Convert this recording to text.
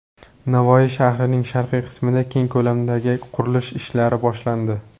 Navoiy shahrining sharqiy qismida keng ko‘lamdagi qurilish ishlari boshlandi.